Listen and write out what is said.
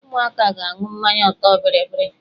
Ụmụaka ga-aṅụ mmanya ọtọ bịrịbịrị.